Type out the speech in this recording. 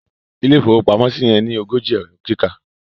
ilé ìfowópamọ́ yen ní ogójì Ẹ̀rọ kíkà